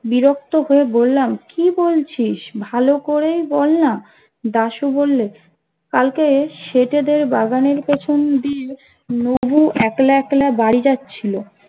বিরক্ত হয়ে বললাম কি বলছিস ভালো করে বল না দাশু বলল কালকে শেঠেদের বাগানের পেছন দিয়ে নবু একলা একলা বাড়ি যাচ্ছি